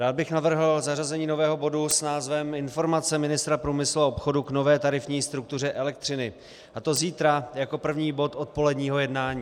Rád bych navrhl zařazení nového bodu s názvem Informace ministra průmyslu a obchodu k nové tarifní struktuře elektřiny, a to zítra jako první bod odpoledního jednání.